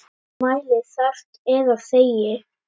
Mæli þarft eða þegi.